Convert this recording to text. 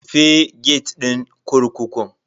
Rufe gate din kurkukun.